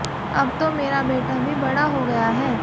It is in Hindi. अब तो मेरा बेटा भी बड़ा हो गया है